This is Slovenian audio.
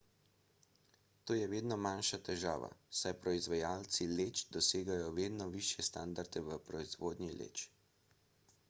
to je vedno manjša težava saj proizvajalci leč dosegajo vedno višje standarde v proizvodnji leč